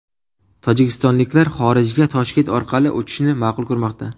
Tojikistonliklar xorijga Toshkent orqali uchishni ma’qul ko‘rmoqda.